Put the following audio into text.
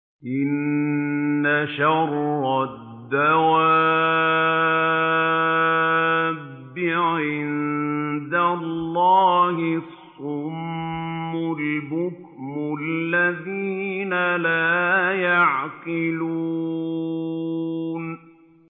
۞ إِنَّ شَرَّ الدَّوَابِّ عِندَ اللَّهِ الصُّمُّ الْبُكْمُ الَّذِينَ لَا يَعْقِلُونَ